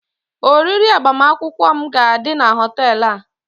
oriri agbamakwụkwọ m ga-adị na họtel a